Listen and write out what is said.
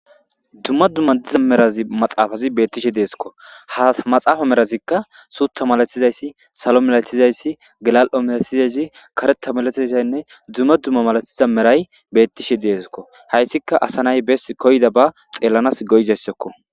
Dumma dumma diza merazi maxaafazi beettishe deeskko ha maxaafa merazikka suutha malatizayssi salo melatizayssi galal'o melathizayssi kareta malatiayssaynne dumma dumma malathiza meray bettishe deeskko hayssika asa nay bes koyda ba xeelanas goyizayssakko